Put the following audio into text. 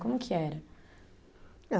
Como que era? Ah